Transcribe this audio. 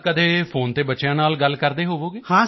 ਤਾਂ ਕਦੀ ਫੋਨ ਤੇ ਬੱਚਿਆਂ ਨਾਲ ਗੱਲ ਕਰਦੇ ਹੋਵੋਗੇ